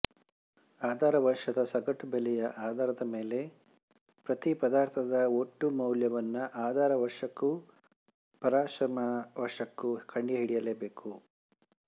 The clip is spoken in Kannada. ಆಧಾರವರ್ಷದ ಸಗಟು ಬೆಲೆಯ ಆಧಾರದ ಮೇಲೆ ಪ್ರತಿ ಪದಾರ್ಥದ ಒಟ್ಟು ಮೌಲ್ಯವನ್ನು ಆಧಾರವರ್ಷಕ್ಕೂ ಪರಾಮರ್ಶನ ವರ್ಷಕ್ಕೂ ಕಂಡುಹಿಡಿಯಬೇಕು